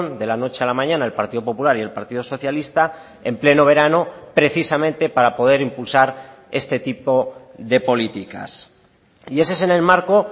de la noche a la mañana el partido popular y el partido socialista en pleno verano precisamente para poder impulsar este tipo de políticas y ese es en el marco